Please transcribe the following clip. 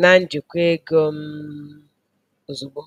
na njikwa ego um ozugbo.